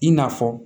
I n'a fɔ